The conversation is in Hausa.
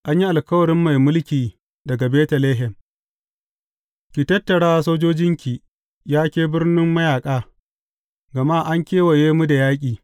An yi alkawarin mai mulki daga Betlehem Ki tattara sojojinki, ya ke birnin mayaƙa, gama an kewaye mu da yaƙi.